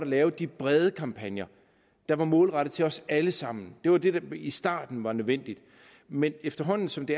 lavede de brede kampagner der var målrettet til os alle sammen det var det der i starten var nødvendigt men efterhånden som det